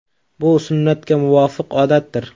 Bu sunnatga muvofiq odatdir.